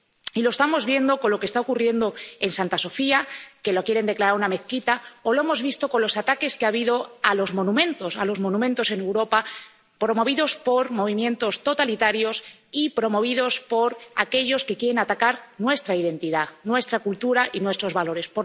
Y lo estamos viendo con lo que está ocurriendo con Santa Sofía, que la quieren declarar una mezquita, o lo hemos visto con los ataques que ha habido a los monumentos en Europa, promovidos por movimientos totalitarios y promovidos por aquellos que quieren atacar nuestra identidad, nuestra cultura y nuestros valores.